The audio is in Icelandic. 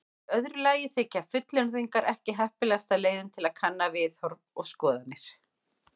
Í öðru lagi þykja fullyrðingar ekki heppilegasta leiðin til að kanna viðhorf og skoðanir.